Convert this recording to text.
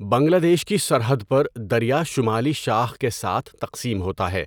بنگلہ دیش کی سرحد پر، دریا شمالی شاخ کے ساتھ تقسیم ہوتا ہے